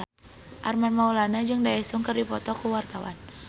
Armand Maulana jeung Daesung keur dipoto ku wartawan